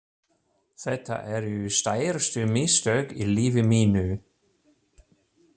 Þetta eru stærstu mistök í lífi mínu.